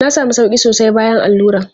Na sami sauƙi sosai bayan allura.